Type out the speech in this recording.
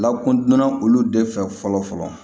Lakodonna olu de fɛ fɔlɔ fɔlɔ